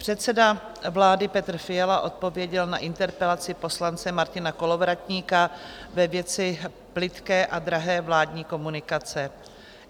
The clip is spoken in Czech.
Předseda vlády Petr Fiala odpověděl na interpelaci poslance Martina Kolovratníka ve věci plytké a drahé vládní komunikace.